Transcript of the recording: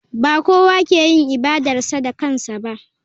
Ba kowa ke yin ibadarsa da kansa ba.